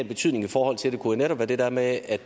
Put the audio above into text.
betydning i forhold til det kunne være det der med at